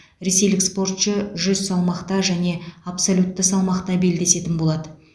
ресейлік спортшы жүз салмақта және абсолютті салмақта белдесетін болады